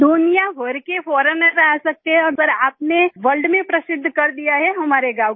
दुनियाभर के फोरिग्नर्स आ सकते हैं पर आपने वर्ल्ड में प्रसिद्ध कर दिया है हमारे गाँव को